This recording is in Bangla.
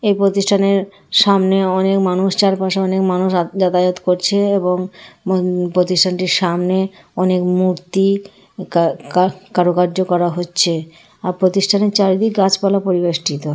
এই প্রতিষ্ঠানের সামনে অনেক মানুষ চারপাশে অনেক মানুষ যাতায়াত করছে এবং প্রতিষ্ঠানটির সামনে অনেক মূর্তি কা-কা কারুকার্য করা হচ্ছে। আর প্রতিষ্ঠানের চারিদিক গাছপালা পরিবেষ্টিত।